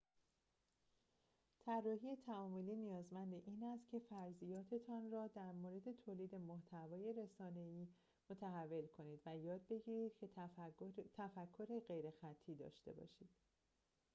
طراحی تعاملی نیازمند این است که فرضیاتتان را در مورد تولید محتوای رسانه‌ای متحول کنید و یاد بگیرید که تفکر غیرخطی داشته باشید